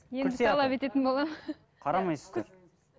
енді талап ететін боламын қарамайсыздар